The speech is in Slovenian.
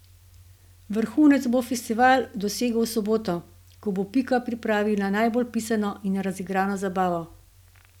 Vrhunec bo festival dosegel v soboto, ko bo Pika pripravila najbolj pisano in razigrano zabavo.